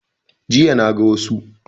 Jiya na ga musa